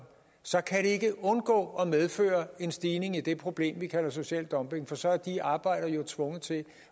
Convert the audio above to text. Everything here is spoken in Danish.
så kan det ikke undgå at medføre en stigning i det problem vi kalder social dumping for så er de arbejdere tvunget til